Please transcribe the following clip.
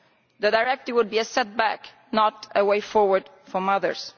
The directive would be a setback, not a way forward for mothers.